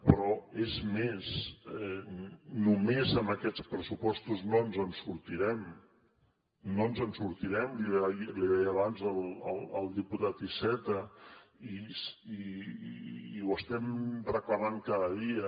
però és més només amb aquests pressupostos no ens en sortirem no ens en sortirem l’hi deia abans al diputat iceta i ho estem reclamant cada dia